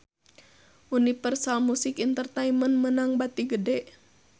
Universal Music Entertainment meunang bati gede